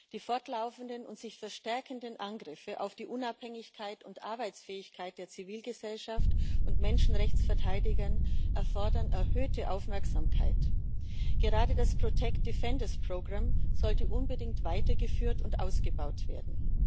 Die fortlaufenden und sich verstärkenden Angriffe auf die Unabhängigkeit und Arbeitsfähigkeit der Zivilgesellschaft und von Menschenrechtsverteidigern erfordern erhöhte Aufmerksamkeit. Gerade das sollte unbedingt weitergeführt und ausgebaut werden.